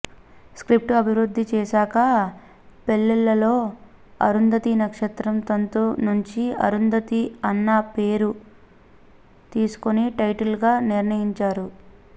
script అభివృద్ధి చేశాకా పెళ్ళిళ్ళలో అరుంధతీ నక్షత్రం తంతు నుంచి అరుంధతి అన్న పేరు తీసుకుని టైటిల్ గా నిర్ణయించారు